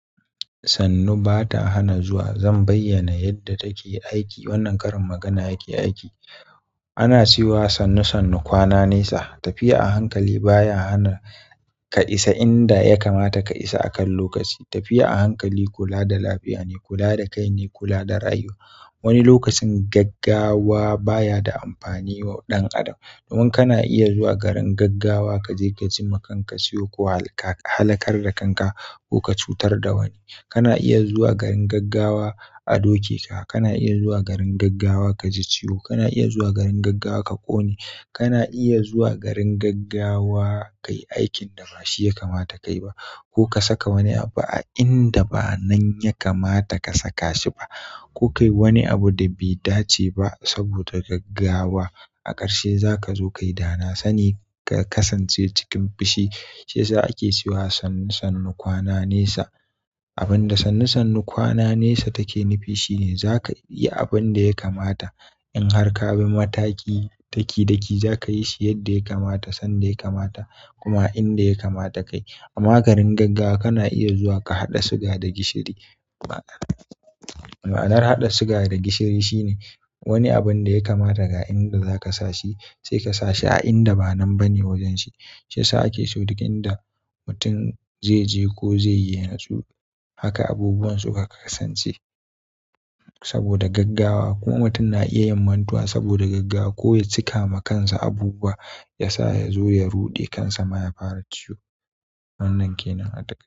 Sannu ba ta hana zuwa. Zan bayyana yadda take aiki. Wannan karin magana yake aiki. Ana cewa sannu-sannu kwana nesa. Tafiya a hankali baya hana ka isa inda yakamata ka isa a kan lokaci. Tafiya a hankali kula da lafiya ne, kula da kai ne, kula da rayuwa. Wani lokacin gaggawa baya da amfani wa ɗan adam. Domin kana iya zuwa garin gaggawa ka je ka jima kanka ciwo ko ka halakar da kanka ko ka cutar da wani. Kana iya zuwa garin gaggawa a doke ka. Kana iya zuwa garin gaggawa ka ji ciwo. Kana iya zuwa garin gaggawa ka ƙone. Kana iya zuwa garin gaggawa ka yi aikin da ba shi yakamata ka yi ba. Ko ka saka wani abu a inda ba nan yakamata ka saka shi ba. Ko ka yi wani abu da bai dace ba saboda gaggawa. A ƙarshe za ka zo ka yi dana. Sani ka kasance cikin fushi. Ja ake cewa sannu sannu kwana nesa abinda sannu sannu kwana nesa take nufi shine zaka iya abin da ya kamata. In har kabi mataki ɗaki ɗaki zaka yi shi yadda ya kamata sanda ya kamata kuma a inda ya kamata kayi. Amma garin gaggawa kana iya zuwa ka haɗa siga da gishiri. Ma'anar haɗa siga da gishiri shine wani abin da yakamata ga inda za ka sashi sai ka sashi a inda ba nan bane wajenshi. Ta ake so duk inda mutum zai je ko zai yi ya natsu, haka abubuwan su ka kasance saboda gaggawa. Kuma mutum na iya yin mantuwa saboda gaggawa ko ya cika ma kansa abubuwa yasa ya zo ya ruɗe kansa ma ya fara ciwo. Wannan kenan a ta.